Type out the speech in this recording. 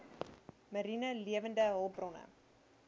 mariene lewende hulpbronne